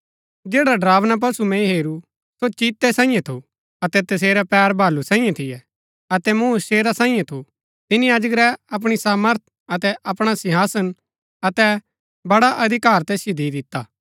जैडा ड़रावना पशु मैंई हेरू सो चीतै सांईये थू अतै तसेरै पैर भालू सांईये थियै अतै मुँह शेरा सांईये थू तिनी अजगरै अपणी सामर्थ अतै अपणा सिंहासन अतै बड़ा अधिकार तैसिओ दि दिता